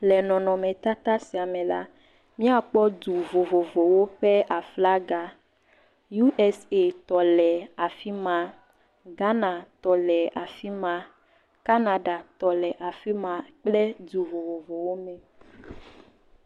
Le nɔnɔmetata sia me la míakpɔ du vovovowo ƒe aflaga. USAtɔ le afi ma, Ghanatɔ le afi ma, Canadatɔ le afi ma kple du vovovowo me.